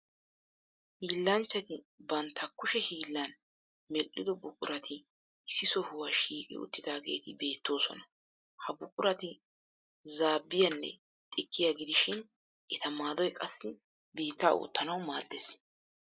Hiillanchchati bantta kushe hiillan medhdhido buqurati issi sohuwa shiiqi uttidaageeti beettoosona. Ha buqurati zaabbiyanne xikkiya gidishin eta maadoy qassi biittaa oottanawu maaddees.